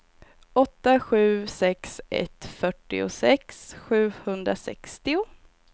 åtta sju sex ett fyrtiosex sjuhundrasextio